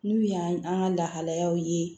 N'u y'an ka lahalayaw ye